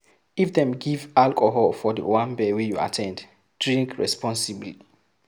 If dem give alcohol for di owambe wey you at ten d, drink responsibly